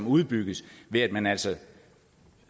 udbygges ved at man altså